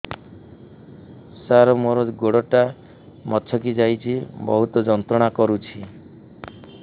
ସାର ମୋର ଗୋଡ ଟା ମଛକି ଯାଇଛି ବହୁତ ଯନ୍ତ୍ରଣା କରୁଛି